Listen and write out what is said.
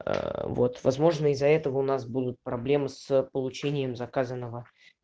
аа вот возможно из-за этого у нас будут проблемы с получением заказанного